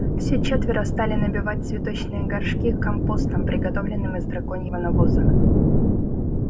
все четверо стали набивать цветочные горшки компостом приготовленным из драконьего навоза